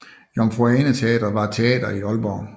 Jomfru Ane Teatret var et teater i Aalborg